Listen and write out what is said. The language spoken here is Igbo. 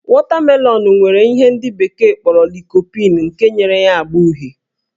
Wọtamelọnụ nwere ihe ndị bekee kpọrọ lycopene nke nyere ya ágbá uhie